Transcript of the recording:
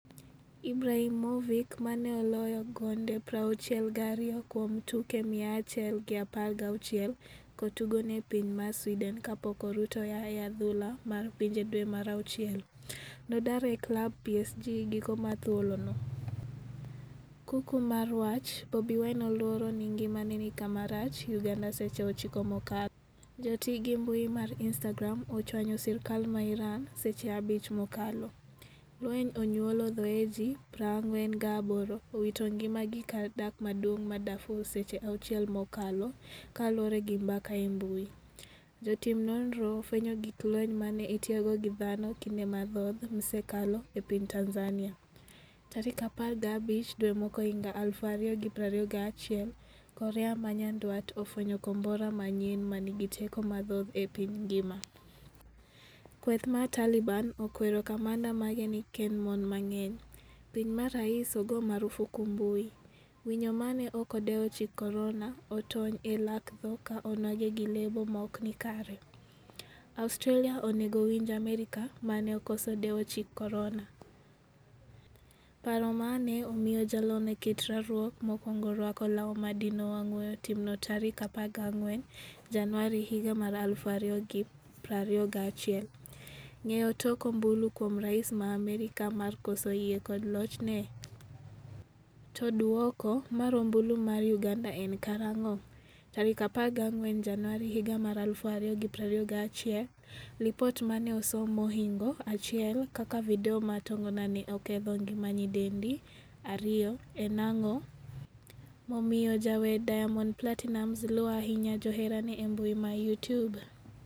Ibrahimovic mane oloyo gonde 62 kuom tuke 116 kotugo ne piny mar Sweden kapok orutaya e adhula mar pinje dwe mar auchiel, nodar e klab PSG giko mar thuolo no.Kuku mar wach: Bobi Wine oluoro ni ngimane ni kama rach' Uganda Seche 9 mokalo. Joti gi mbui mar Instagram ochwanyo sirkal ma Iran seche 5 mokalo. Lweny onyuolo thoe ji 48 owito ngima gi kar dak maduong' ma Darfur Seche 6 mokalo kaluore gi mbaka e mbui. Jotim nonro ofwenyo gig lweny mane itiyogo gi dhano kinde mathoth msekalo e piny Tanzania. Tarik 15 dwe mokwongohiga 2021 korea manyandwat ofwenyo kombora manyien manigi teko mathoth e piny ngima. Kweth mar Taliban okwero kamanda mage ni kikkend mon mang'eny. piny ma rais ogo marufuku mbui. Winyo mane ok odewo chik korona otony e lak tho ka onwang'e gi lebo maokni kare. Australia onego winj Amerka mane okoso dewo chik korona. paro mane omiyo jalony e kit rwakruok mokwongo rwako law madino wang' weyo timno tarik 14 januari 2021. Ng'eyo tok ombulu kuom rais ma Amerka mar koso yie kod lochne? To duoko mar ombulu mar uganda en karang'o?14 Januari 2021Lipot mane osom mohingo 1 kaka video mar tongona ne oketho ngima nyidendi 2. en ang'o momiyo jawer Diamond Platinumz luo ahinya joherane embui ma Youtube?